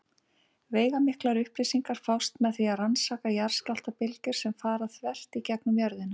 Veigamiklar upplýsingar fást með því að rannsaka jarðskjálftabylgjur sem fara þvert í gegnum jörðina.